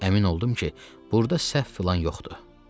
Əmin oldum ki, burda səhv filan yoxdur.